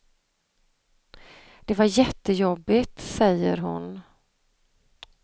Det var jättejobbigt, säger hon.